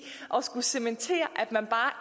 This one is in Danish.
at skulle cementere at man bare